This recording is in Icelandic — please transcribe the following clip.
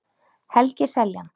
Helgi Seljan.